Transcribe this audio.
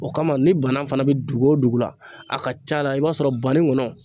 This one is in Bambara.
O kama ni banan fana bɛ dugu o dugu la a ka ca la i b'a sɔrɔ baninkɔnɔ